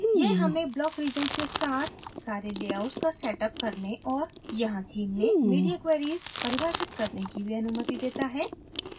यह हमें block regions के साथ सारे लेआउट्स का setअप करने और यहाँ theme में media queries परिभाषित करने की भी अनुमति set है